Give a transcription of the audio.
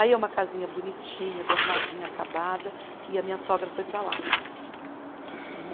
Aí é uma casinha bonitinha, bem arrumadinha, acabada, e a minha sogra foi para lá. Né